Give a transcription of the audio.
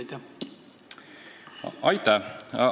Aitäh!